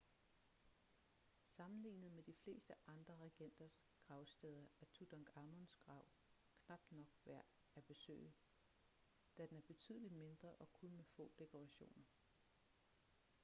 sammenlignet med de fleste andre regenters gravsteder er tutankhamuns grav knap nok værd at besøge da den er betydeligt mindre og med kun få dekorationer